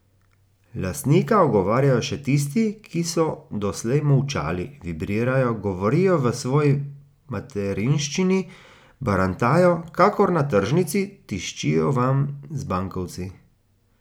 Lastnika ogovarjajo še tisti, ki so doslej molčali, vibrirajo, govorijo v svoji materinščini, barantajo kakor na tržnici, tiščijo vanj z bankovci.